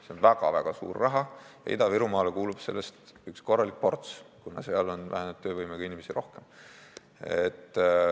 See on väga-väga suur raha ja Ida-Virumaale kuulub sellest üks korralik ports, kuna seal on vähenenud töövõimega inimesi rohkem.